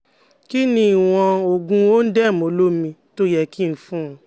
Kí ni ìwọ̀n oògun ondem olómi tó ye kí fún-un